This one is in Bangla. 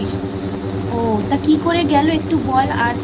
ও তা কী করে গেল একটু বল আর